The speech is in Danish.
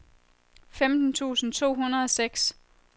femten tusind to hundrede og seks